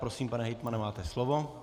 Prosím, pane hejtmane, máte slovo.